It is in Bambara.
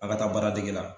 A ka taa baara dege la